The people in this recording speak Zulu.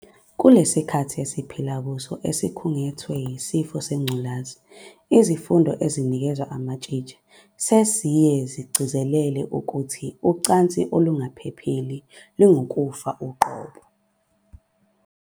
Kulesi sikhathi esiphila kuso esikhungethwe yisifo sengculaza, izifundo ezinikezwa amatshitshi seziye zigcizelele ukuthi ucansi olungaphephile lungukufa uqobo.